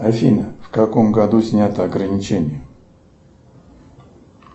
афина в каком году снято ограничение